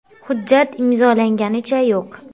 Hujjat imzolanganicha yo‘q.